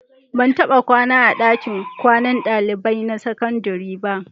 Ban taɓa kwana a ɗakin kwanan ɗalibai na sakandare ba.